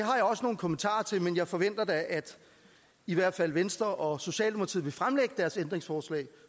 har jeg også nogle kommentarer til men jeg forventer da at i hvert fald venstre og socialdemokratiet vil fremlægge deres ændringsforslag